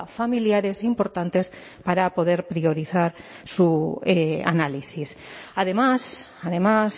familiares importantes para poder priorizar su análisis además además